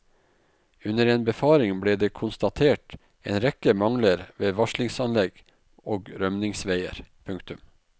Under en befaring ble det konstatert en rekke mangler ved varslingsanlegg og rømningsveier. punktum